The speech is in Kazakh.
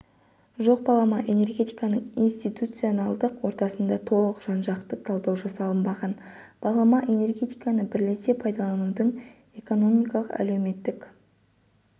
жоқ балама энергетиканың институционалдық ортасына толық жан-жақты талдау жасалынбаған балама энергетиканы бірлесе пайдаланудың экономикалық әлеуметтік